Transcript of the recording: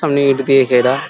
সব নেট দিয়ে ঘেরা।